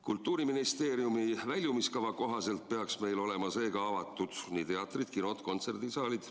Kultuuriministeeriumi väljumiskava kohaselt peaks meil olema seega avatud nii teatrid, kinod kui ka kontserdisaalid.